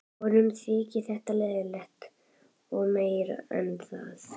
Honum þyki þetta leiðinlegt og meira en það.